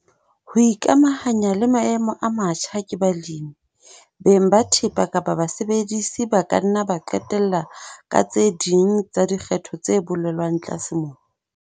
Ho ikamahanya le maemo a matjha ke balemi, beng ba thepa kapa basebedisi ba ka nna ba qetella ka tse ding tsa dikgetho tse bolelwang tlase mona.